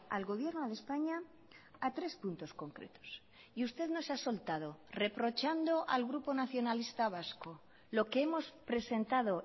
al gobierno de españa a tres puntos concretos y usted nos ha soltado reprochando al grupo nacionalista vasco lo que hemos presentado